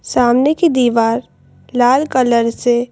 सामने की दीवार लाल कलर से--